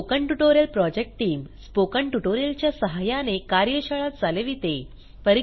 spoken tutorial project team spoken tutorial च्या सहाय्याने कार्यशाळा चालविते